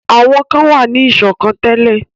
Àwọn kan wà ní ìṣọ̀kan tẹ́lẹ̀.